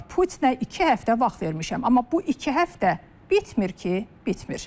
Putinə iki həftə vaxt vermişəm, amma bu iki həftə bitmir ki, bitmir.